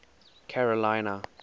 carolina